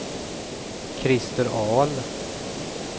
Christer Ahl